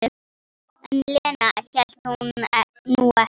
En Lena hélt nú ekki.